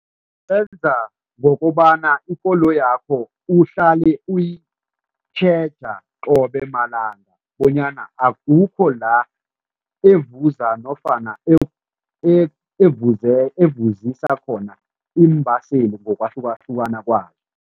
Ngokobana ikoloyakho uhlale uyitjhega qobe malanga bonyana akukho la evuza nofana evusisa khona iimbaseli ngokwahlukahlukana kwazo.